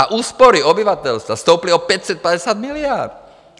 A úspory obyvatelstva stouply o 550 miliard.